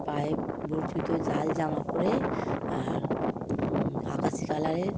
পায়ে বুট জুতো লাল জামা পরে আর উম আকাশী কালারের --